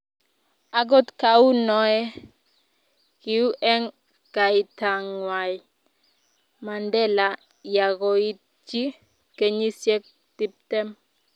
akot kou noe, kiuu eng' kaitang'wang' Mandela ya koityi kenyisiek tiptem